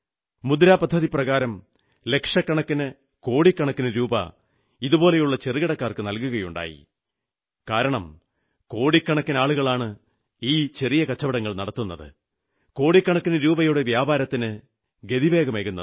മുദ്രാ പദ്ധതിപ്രകാരം ലക്ഷക്കണക്കിന് കോടിക്കണക്കിന് രൂപാ ഇതുപോലുള്ള ചെറുകിടക്കാർക്ക് നൽകുകയുണ്ടായി കാരണം കോടിക്കണക്കിന് ആളുകളാണ് ഈ ചെറിയ കച്ചവടങ്ങൾ നടത്തുന്നത് കോടിക്കണക്കിനു രൂപയുടെ വ്യാപാരത്തിന് ഗതിവേഗമേകുന്നത്